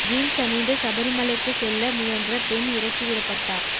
jeans அணிந்து சபரிமலைக்கு செல்ல முயன்ற பெண் இறக்கி விடப்பட்டார்